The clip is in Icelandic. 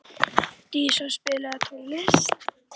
Día, spilaðu tónlist.